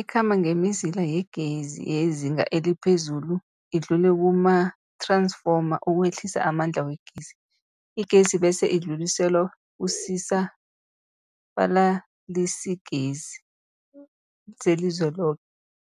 Ikhamba ngemizila yegezi yezinga eliphezulu idlule kumath-ransfoma ukwehlisa amandla wegezi. Igezi bese idluliselwa kusisa-balalisigezi selizweloke.